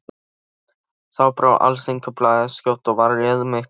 Þá brá Alþýðublaðið skjótt við og réð mig til sín.